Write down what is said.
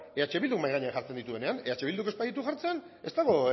eh bildu mahai gainean jartzen dituenean eh bilduk ez baditu jartzen ez dago